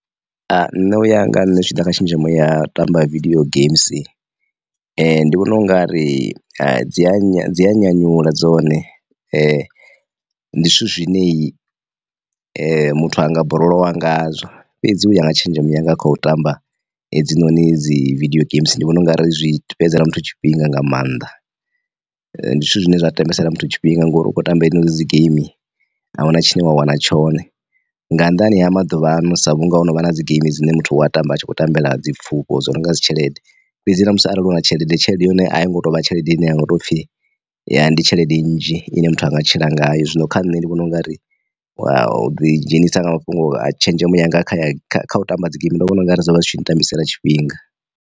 Nṋe u ya nga nṋe zwi tshi ḓa kha tshenzhemo ya tamba vidio geimsi, ndi vhona u nga ri dzi a nya dzi ya nyanyula dzone ndi zwithu zwineyi muthu anga borolowa nga zwo fhedzi u ya nga tshenzhemo yanga kha u tamba hedzinoni dzi vidio geimsi ndi vhona ungari zwi fhedzisela muthu tshifhinga nga maanḓa. Ndi zwithu zwine zwa tambisela muthu tshifhinga ngori u kho tamba iyo dzi geimi ahuna tshine wa wana tshone nga nnḓani ha maḓuvhano sa vhunga ho no vha na dzi geimi dzine muthu wa tamba a tshi khou tambela dzi pfufho dzo no nga dzi tshelede, fhedzi na musi arali hu na tshelede tshelede ya hone a yi ngo tovha tshelede ine ya ngo tou pfhi ya ndi tshelede nnzhi ine muthu anga tshila ngayo, zwino kha nṋe ndi vhona u nga ri wa u ḓi dzhenisa nga mafhungo a tshenzhemo yanga ya u tamba dzi geimi ndo vhona u nga ri zwo vha zwi tshi ntambisela tshifhinga.